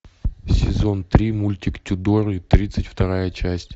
сезон три мультик тюдоры тридцать вторая часть